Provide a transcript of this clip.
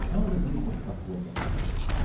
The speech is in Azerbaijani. Sonra da bir boş qabı plov gətirdi qoydu.